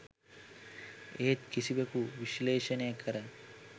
එහෙත් කිසිවෙකු විශ්ලේෂණය කර